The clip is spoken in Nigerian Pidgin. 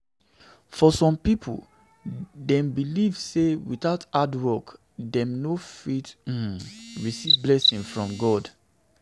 For some pipo dem believe sey without hard work dem no fit um um receive blessing from God